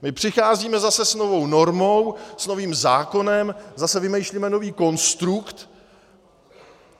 My přicházíme zase s novou normou, s novým zákonem, zase vymýšlíme nový konstrukt.